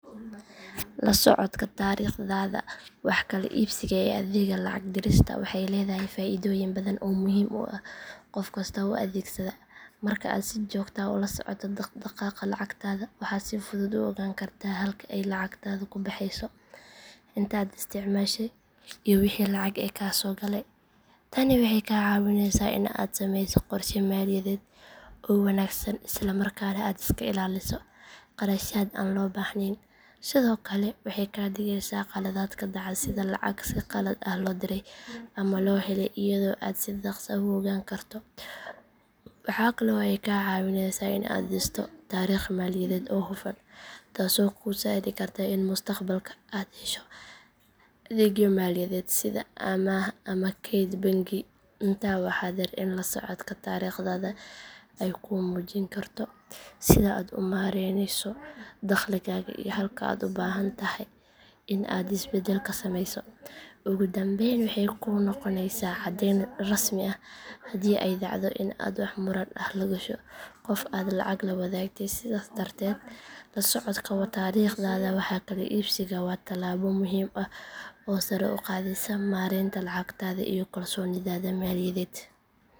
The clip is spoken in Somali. La socodka taariikhdaada wax kala iibsiga ee adeegga lacag dirista waxay leedahay faa’iidooyin badan oo muhiim u ah qof kasta oo adeegsada. Marka aad si joogto ah ula socoto dhaqdhaqaaqa lacagtaada waxaad si fudud u ogaan kartaa halka ay lacagtaadu ku baxayso, inta aad isticmaashay iyo wixii lacag ah ee kaa soo galay. Tani waxay kaa caawineysaa in aad samayso qorshe maaliyadeed oo wanaagsan isla markaana aad iska ilaaliso kharashaad aan loo baahnayn. Sidoo kale waxay kaa digeysaa khaladaadka dhaca sida lacag si qalad ah loo diray ama loo helay iyadoo aad si dhaqso ah u ogaan karto. Waxaa kale oo ay kaa caawineysaa in aad dhisto taariikh maaliyadeed oo hufan taasoo kuu sahli karta in mustaqbalka aad hesho adeegyo maaliyadeed sida amaah ama kayd bangi. Intaa waxaa dheer in la socodka taariikhdaada ay kuu muujin karto sida aad u maaraynayso dakhligaaga iyo halka aad u baahan tahay in aad is beddel ka samayso. Ugu dambeyn waxay kuu noqonaysaa caddayn rasmi ah haddii ay dhacdo in aad wax muran ah la gasho qof aad lacag la wadaagtay. Sidaas darteed la socodka taariikhda wax kala iibsiga waa talaabo muhiim ah oo sare u qaadaysa maareynta lacagtaada iyo kalsoonidaada maaliyadeed.